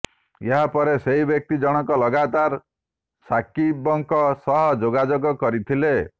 ଏହା ପରେ ସେହି ବ୍ୟକ୍ତି ଜଣକ ଲଗାତାର ସାକିବଙ୍କ ସହ ଯୋଗାଯୋଗ କରିଥିଲେ